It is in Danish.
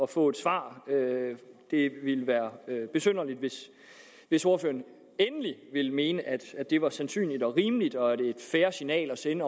få et svar det ville være besynderligt hvis hvis ordføreren endelig ville mene at det var et sandsynligt rimeligt og fair signal at sende